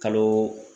Kalo